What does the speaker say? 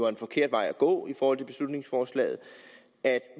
en forkert vej at gå i forhold til beslutningsforslaget at